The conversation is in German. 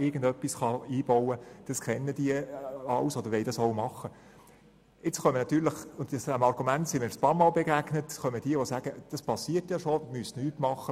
Dem Argument, wonach das bereits passiert und nichts verändert werden soll, sind wir bereits mehrmals begegnet, und es kommt jetzt auch wieder auf den Tisch.